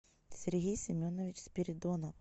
сергей семенович спиридонов